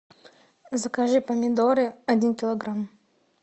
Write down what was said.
закажи помидоры один килограмм